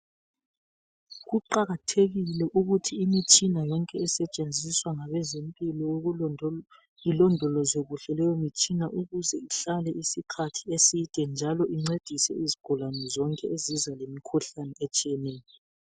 Kuqakathekile ukuthi imitshina yonke esetshenziswa ngabezempilakahle ilondolozwe leyo mtshina ukuze ihlale isikhathi eside njalo incedise izigulane zonke ezize lemikhuhlane etshiyeneyo